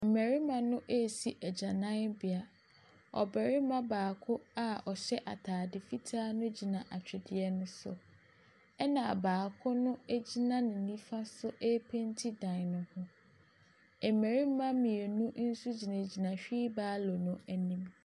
Mmarima no ɛresi agyananbea, ɔbarima baako a ɔhyɛ ataade fitaa no gyina atwedeɛ so, na baako no gyina ne nifa so ɛrepeenti dan ne ho. Mmarima mmienu nso gyinagyina hweebalo no anim.